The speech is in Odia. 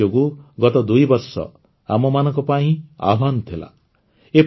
ମହାମାରୀ ଯୋଗୁଁ ଗତ ଦୁଇବର୍ଷ ଆମମାନଙ୍କ ପାଇଁ ଆହ୍ୱାନ ଥିଲା